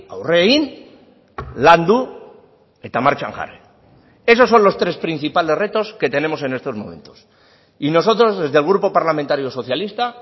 aurre egin landu eta martxan jarri esos son los tres principales retos que tenemos en estos momentos y nosotros desde el grupo parlamentario socialista